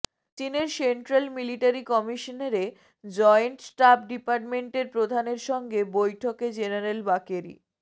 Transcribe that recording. চীনের central military কমিশনেরে joint staff ডিপার্টমেন্টের প্রধানের সঙ্গে বৈঠকে জেনারেল বাকেরি